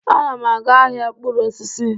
Ana m aga ahịa mkpụrụ osisi.